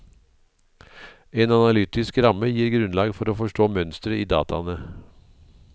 En analaytisk ramme gir grunnlag for å forstå mønstre i dataene.